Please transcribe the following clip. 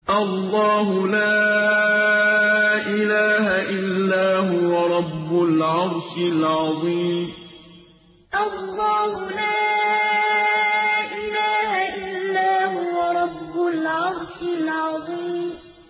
اللَّهُ لَا إِلَٰهَ إِلَّا هُوَ رَبُّ الْعَرْشِ الْعَظِيمِ ۩ اللَّهُ لَا إِلَٰهَ إِلَّا هُوَ رَبُّ الْعَرْشِ الْعَظِيمِ ۩